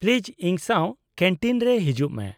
-Please ᱤᱧ ᱥᱟᱶ canteen ᱨᱮ ᱦᱤᱡᱩᱜ ᱢᱮ ᱾